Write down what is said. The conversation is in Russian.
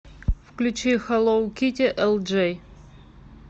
включи хэллоу китти элджей